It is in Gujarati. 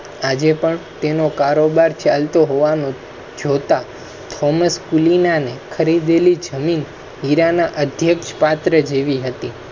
આજે પણ તેનો કારોબાર ચાલ તો હોવાનું જોતા thomas હીરા ના અધ્યક્ષ પાત્ર જેવી હતી.